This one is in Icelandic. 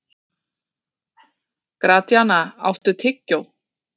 Gratíana, áttu tyggjó?